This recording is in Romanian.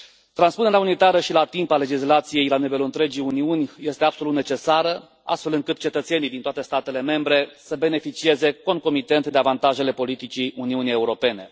Transpunerea unitară și la timp a legislației la nivelul întregii Uniuni este absolut necesară, astfel încât cetățenii din toate statele membre să beneficieze concomitent de avantajele politicii Uniunii Europene.